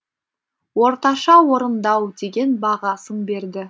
орташа орындау деген бағасын берді